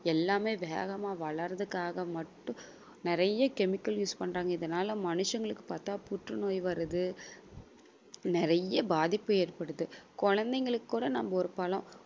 எல்லாமே வேகமா வளர்றதுக்காக மட்டும் நிறைய chemical use பண்றாங்க. இதனால மனுஷங்களுக்கு பார்த்தா புற்றுநோய் வருது நிறைய பாதிப்பு ஏற்படுது. குழந்தைகளுக்கு கூட நம்ம ஒரு பழம்